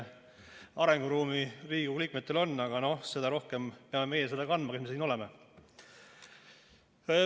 Arenguruumi Riigikogu liikmetel on, aga seda rohkem peame meie seda kandma, kes me siin oleme.